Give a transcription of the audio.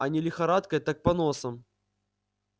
а не лихорадкой так поносом